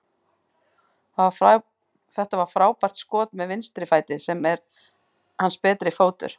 Þetta var frábært skot með vinstri fæti, sem er ekki hans betri fótur.